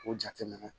O jateminɛ